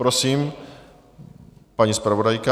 Prosím, paní zpravodajka.